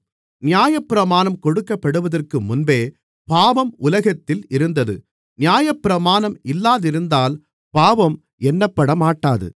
நியாயப்பிரமாணம் கொடுக்கப்படுவதற்கு முன்பே பாவம் உலகத்தில் இருந்தது நியாயப்பிரமாணம் இல்லாதிருந்தால் பாவம் எண்ணப்படமாட்டாது